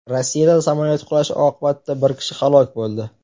Rossiyada samolyot qulashi oqibatida bir kishi halok bo‘ldi.